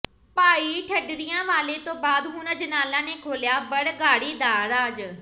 ਭਾਈ ਢੱਡਰੀਆਂ ਵਾਲੇ ਤੋਂ ਬਾਅਦ ਹੁਣ ਅਜਨਾਲਾ ਨੇ ਖੋਲ੍ਹਿਆ ਬਰਗਾੜੀ ਦਾ ਰਾਜ਼